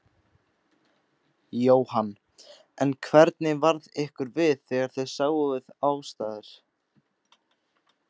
Jóhann: En hvernig varð ykkur við þegar þið sáuð aðstæður?